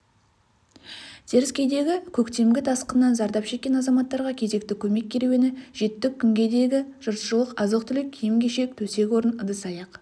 теріскейдегі көктемгі тасқыннан зардап шеккен азаматтарға кезекті көмек керуені жетті күнгейдегі жұртшылық азық-түлік киім-кешек төсек-орын ыдыс-аяқ